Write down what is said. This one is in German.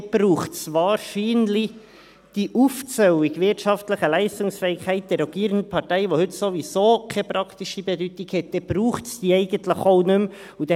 Gut, dann braucht es wahrscheinlich diese Aufzählung, wirtschaftliche Leistungsfähigkeit der rogierenden Partei, die heute sowieso keine praktische Bedeutung hat, dann braucht es diese eigentlich auch nicht mehr.